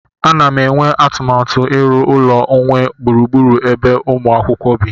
M na-enwe atụmatụ na-iru ụlọ onwe gburugburu ebe umu akwukwo bi